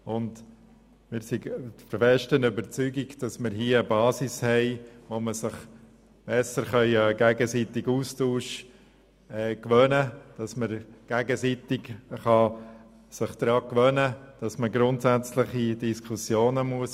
Wir sind der festen Überzeugung, dass wir hier eine Basis haben, auf der wir den gegenseitigen Austausch pflegen und uns daran gewöhnen können, dass man grundsätzliche Diskussionen führen muss.